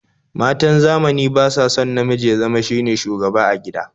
Matan zamani ba sa son namiji ya zama shine shugaba a gida